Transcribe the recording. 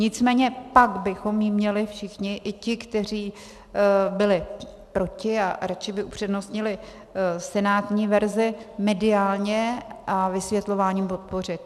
Nicméně pak bychom ji měli všichni, i ti, kteří byli proti a radši by upřednostnili senátní verzi, mediálně a vysvětlováním podpořit.